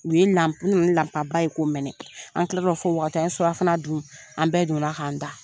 U ye ye ko mɛnɛ an tila fɔ waati an ye surafana dun an bɛɛ donna la'an da.